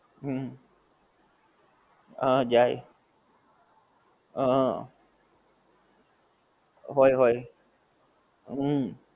હં જાય. હં. હોય હોય. હુંમ હુંમ.